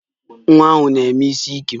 Nwa ahụ na-eme isiike